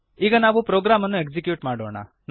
ಈಗ ನಾವು ಪ್ರೊಗ್ರಾಮನ್ನು ಎಕ್ಸಿಕ್ಯೂಟ್ ಮಾಡೋಣ